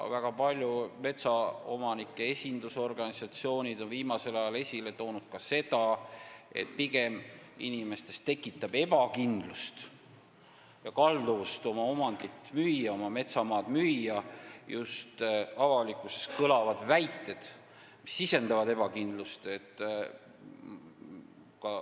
Väga paljud metsaomanike esindusorganisatsioonid on viimasel ajal esile toonud ka seda, et pigem mõjutavad inimeste kalduvust oma omandit, metsamaad müüa just avalikkuses kõlavad väited, mis sisendavad ebakindlust.